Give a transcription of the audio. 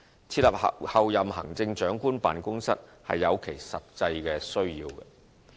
設立候任行政長官辦公室是有其實際需要的。